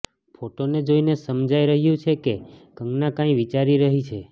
ફોટોને જોઈને સમાજાઈ રહ્યું છે કે કંગના કંઈ વિચારી રહી છે